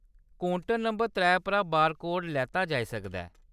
Counter number त्रै उप्परा barcode लैता जाई सकदा ऐ।